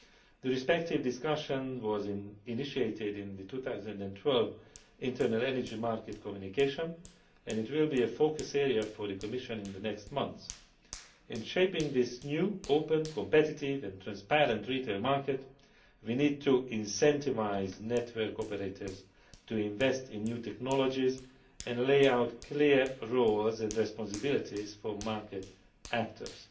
The respective discussion was initiated in the 2012 Internal Energy Market Communication, and this will be a focus area for the Commission in the next months. In shaping this new open, competitive and transparent retail market, we need to incentivise network operators to invest in new technologies and lay out clear roles and responsibilities for market actors